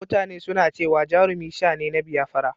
mutane suna cewa Jarumi sha ne na Biyafara